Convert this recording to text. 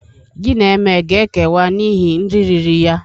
Gị na Eme a ga-ekewa n'ihi nri riri ya?